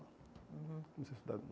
Uhum Comecei a estudar de novo.